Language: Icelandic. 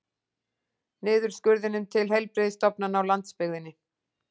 Niðurskurðinum til heilbrigðisstofnananna á landsbyggðinni